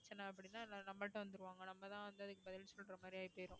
பிரச்சனை அப்படின்னா நம்மள்ட்ட வந்துருவாங்க நம்மதான் வந்து அதுக்கு பதில் சொல்ற மாதிரி ஆயிபோயிடும்